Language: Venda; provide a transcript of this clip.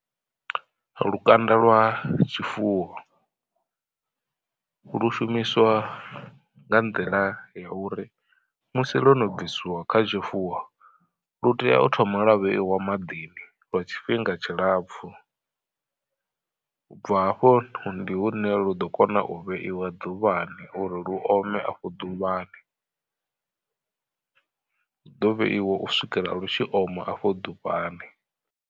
Lukanda lwa tshifuwo, lu shumiswa nga nḓila ya uri musi lwo no bvisiwa kha tshifuwo lu tea u thoma lwa vheiwa maḓini lwa tshifhinga tshilapfhu. U bva hafho ndi hune lu ḓo kona u vheiwa ḓuvhani uri lu ome afho ḓuvhani. Luḓo vheiwa u swikela lu tshi oma afho ḓuvhani.